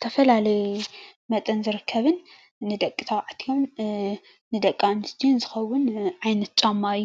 ንህፃናትን ኣባፅሕን ዝሽየጠሉ ገዛ እዩ።